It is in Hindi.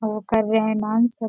अ वो कर रहे डांस सब --